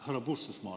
Härra Puustusmaale.